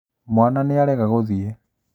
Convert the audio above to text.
Mwana nĩarega gũthiĩ